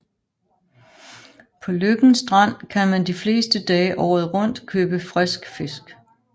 På Løkken Strand kan man de fleste dage året rundt købe frisk fisk